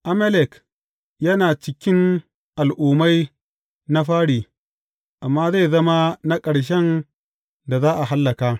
Amalek yana cikin al’ummai na fari, amma zai zama na ƙarshen da za a hallaka.